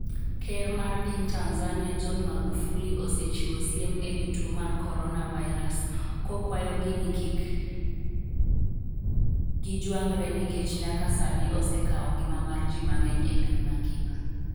Ker mar piny Tanzania, John Magufuli osechiwo siem ewi tuo mar corona virus, kokwayogi ni kik gi jwang're nikech nyaka sani osekawo ngima mar ji mang'eny e piny mangima.